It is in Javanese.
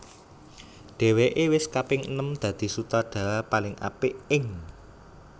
Dhèwèké wis kaping enem dadi Sutradara paling apik ing